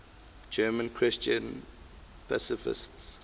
german christian pacifists